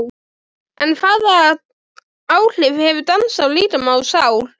En hvaða áhrif hefur dans á líkama og sál?